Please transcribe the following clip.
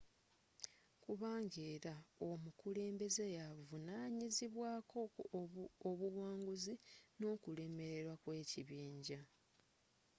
kubanga era omukulembeze yaavunanyizibwaako obuwanguzi n'okulemererwa kw'ekibinja